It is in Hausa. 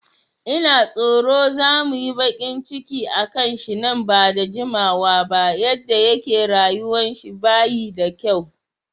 Ina tsoro za muyi baƙin ciki akan shi nan bada jimawa ba, yadda yake rayuwan shi bayi da kyau